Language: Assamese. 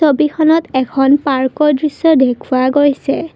ছবিখনত এখন পাৰ্কৰ দৃশ্য দেখুওৱা গৈছে।